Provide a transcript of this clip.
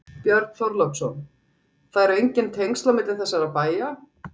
Björn Þorláksson: Það eru engin tengsl á milli þessara bæja?